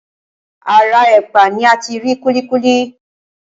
Ara ẹ̀pà ni ati rí kúlíkúlí.